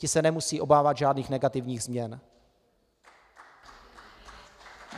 Ti se nemusí obávat žádných negativních změn.